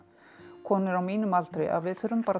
konur á mínum aldri að við þurfum bara að